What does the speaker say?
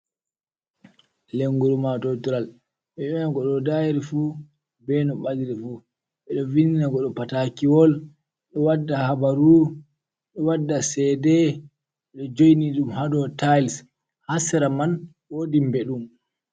Lenguru matotiral ɓe ɗo yona goɗɗo no dayiri fu, be no ɓadirifu, ɓeɗo vindina goɗɗo patakiwol, ɗo wadda habaru, ɗo wadda cede, ɓeɗo joini ɗum ha dou tiles, ha sera man wodi mbedu.